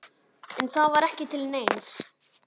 En það var ekki til neins.